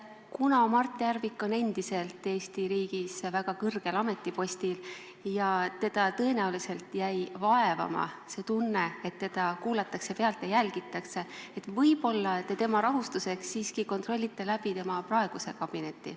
Kuna Mart Järvik on endiselt Eesti riigis väga kõrgel ametipostil ja teda jäi tõenäoliselt vaevama see tunne, et teda kuulatakse pealt ja jälgitakse, siis võib-olla te tema rahustuseks siiski kontrollite läbi tema praeguse kabineti.